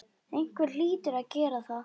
Einhver hlýtur að gera það.